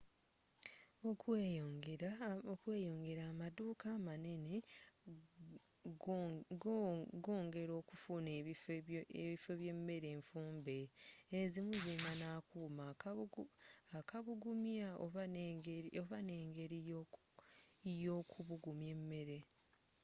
okweeyongera amaduuka amanene goongera okufuna ebifo bye mmere enfumbe ezimu zilina n'akuuma akubugumya oba enegeri yookubugumya emmere